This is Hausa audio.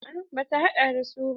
A'a bata haɗa da su ba.